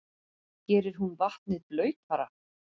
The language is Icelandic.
Gerir hún vatnið blautara?